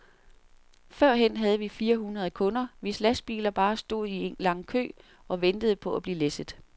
Førhen havde vi fire hundrede kunder, hvis lastbiler bare stod i en lang kø og ventede på at blive læsset.